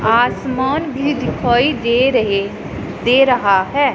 आसमान भी दिखाई दे रहे दे रहा है।